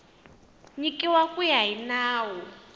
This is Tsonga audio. nyikiwa ku ya hi nawu